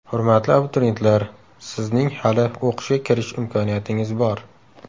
Hurmatli abituriyentlar, sizning hali o‘qishga kirish imkoniyatingiz bor!.